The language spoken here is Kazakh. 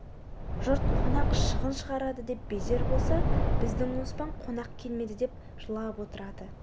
жұрт қонақ шығын шығарады деп безер болса біздің оспан қонақ келмеді деп жылап отырады